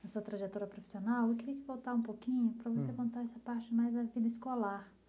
na sua trajetória profissional, eu queria voltar um pouquinho para você contar essa parte mais da vida escolar.